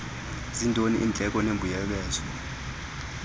zintoni iindleko nembuyekezo